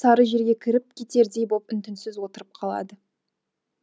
сары жерге кіріп кетердей боп үн түнсіз отырып қалады